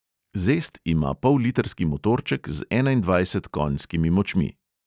Zest ima pollitrski motorček z enaindvajset konjskimi močmi.